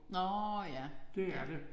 Nåh ja ja